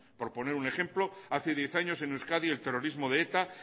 por poner un ejemplo hace diez años en euskadi el terrorismo de eta